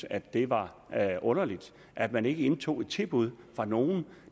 at det var underligt at man ikke hjemtog et tilbud fra nogen